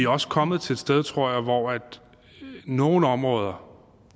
også kommet til et sted tror jeg hvor nogle områder